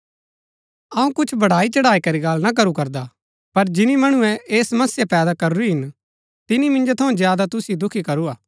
अऊँ कुछ बढ़ाई चढ़ाईकरी गल्ल ना करू करदा पर जिनी मणुऐ ऐह समस्या पैदा करूरी हिन तिनी मिन्जो थऊँ ज्यादा तुसिओ दुखी करू हा